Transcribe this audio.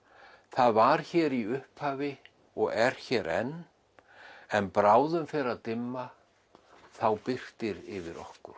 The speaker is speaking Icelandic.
það var hér í upphafi og er hér enn en bráðum fer að dimma þá birtir yfir okkur